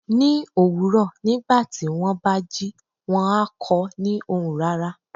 Ní òwúrọ̀ nígbàtí wón bá jí, wón á kọ ni ohùn rara